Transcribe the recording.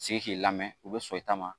Sigi k'i lamɛn u bɛ sɔn i ta ma